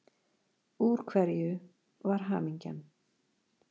Úr hverju var Hamingjan?